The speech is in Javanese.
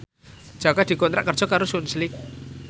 Jaka dikontrak kerja karo Sunsilk